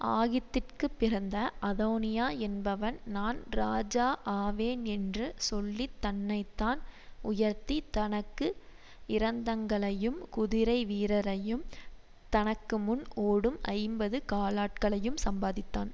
ஆகீத்திற்குப் பிறந்த அதோனியா என்பவன் நான் ராஜா ஆவேன் என்று சொல்லி தன்னை தான் உயர்த்தி தனக்கு இரதங்களையும் குதிரைவீரரையும் தனக்கு முன் ஓடும் ஐம்பது காலாட்களையும் சம்பாதித்தான்